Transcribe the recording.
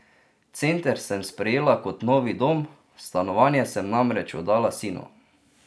Center sem sprejela kot novi dom, stanovanje sem namreč oddala sinu.